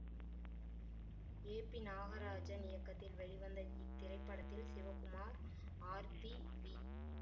ஏ P Nagarajan இயக்கத்தில் வெளிவந்த இத்திரைப்படத்தில் சிவகுமார் ஆர்த்தி வி